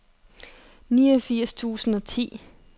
niogfirs tusind og ti